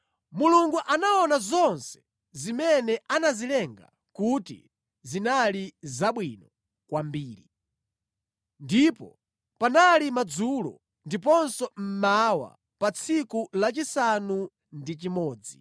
Mulungu anaona zonse zimene anazilenga kuti zinali zabwino kwambiri. Ndipo panali madzulo ndiponso mmawa, tsiku lachisanu ndi chimodzi.